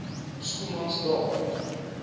schoemansdal